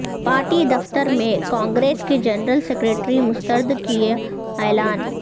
party دفتر میں کانگریس کے جنرل سکریٹری مستری کا اعلان